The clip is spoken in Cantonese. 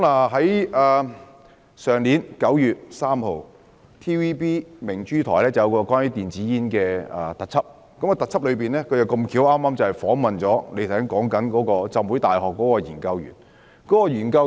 去年9月3日 ，TVB 的頻道明珠台播放一個關於電子煙的特輯，該節目剛巧訪問了有份參與局長提到由香港浸會大學進行的化驗的研究員。